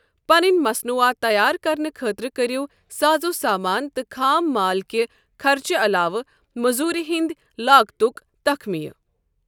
پنٕنۍ مصنوعات تَیار کرنہٕ خٲطرٕ کٔرِو سازو سامان تہٕ خام مال کہِ خرچہٕ علاوٕ مٔزوٗرِ ہٕنٛد لاگتُک تخمینہٕ۔